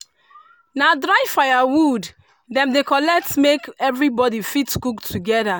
na dry firewood dem dey collect make everybody fit cook together.